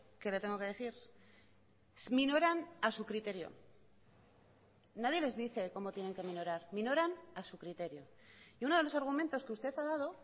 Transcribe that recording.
que le tengo que decir minoran a su criterio nadie les dice cómo tienen que minorar minoran a su criterio y uno de los argumentos que usted ha dado